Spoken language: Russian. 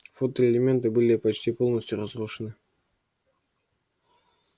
фотоэлементы были почти полностью разрушены